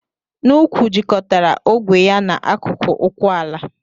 N'úkwù jikọtara ogwe ya na akụkụ ụkwụ ala.